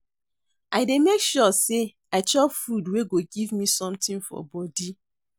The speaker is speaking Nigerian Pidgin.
I dey make sure sey I chop food wey go give me sometin for bodi.